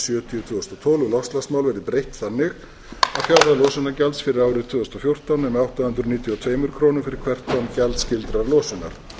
sjötíu tvö þúsund og þrettán um loftslagsmál verði breytt þannig að fjárhæð losunargjalds fyrir árið tvö þúsund og fjórtán nemi átta hundruð níutíu og tvær krónur fyrir hvert tonn gjaldskyldrar losunar